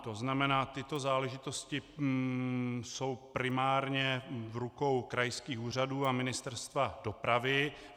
To znamená, tyto záležitosti jsou primárně v rukou krajských úřadů a Ministerstva dopravy.